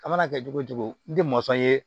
A mana kɛ cogo o cogo n tɛ mɔnsɔn ye